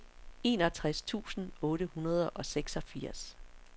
enogtres tusind otte hundrede og seksogfirs